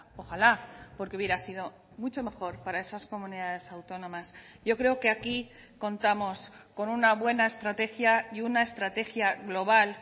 ojalá porque hubiera sido mucho mejor para esas comunidades autónomas yo creo que aquí contamos con una buena estrategia y una estrategia global